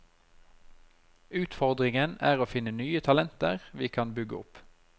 Utfordringen er å finne nye talenter vi kan bygge opp.